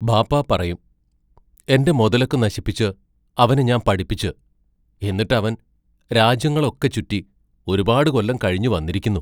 ബാപ്പാ പറയും: എൻറ മൊതലൊക്കെ നശിപ്പിച്ച് അവനെ ഞാൻ പഠിപ്പിച്ച് എന്നിട്ടവൻ രാജ്യങ്ങളൊക്കെ ചുറ്റി ഒരുപാടു കൊല്ലം കഴിഞ്ഞു വന്നിരിക്കുന്നു.